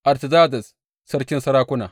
Artazerzes, sarkin sarakuna.